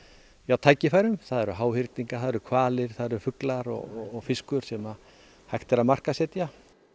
tækifærum það eru háhyrningar það eru hvalir fuglar og fiskur sem hægt er að markaðssetja